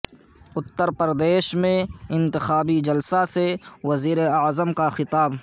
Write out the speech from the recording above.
اتر پردیش میں انتخابی جلسہ سے وزیر اعظم کا خطاب